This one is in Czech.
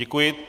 Děkuji.